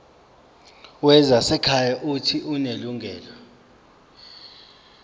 wezasekhaya uuthi unelungelo